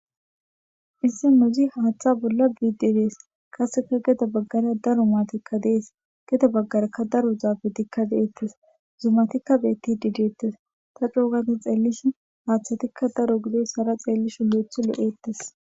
Issi muzi haaththa bolla biiddi dees qaseka geda baggara daro maatikka de7es geda baggarakka daro zafetikka de7ettes zumatikka beettidi deettes ta coo gada xeellish haaththatikka daro gidoyisara xeellishin le7ethi lo7ettes.